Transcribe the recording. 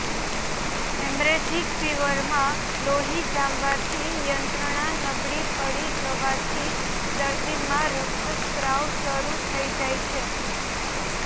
haemorrhagic ફીવરમાં લોહી જામવાની યંત્રણા નબળી પડી જવાથી દર્દીમાં રકતસ્ત્રાવ શરૂ થઇ જાય છે